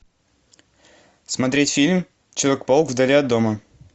смотреть фильм человек паук вдали от дома